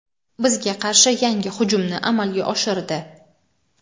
bizga qarshi yangi hujumni amalga oshirdi.